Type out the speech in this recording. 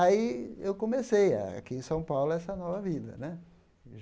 Aí eu comecei, aqui em São Paulo, essa nova vida né.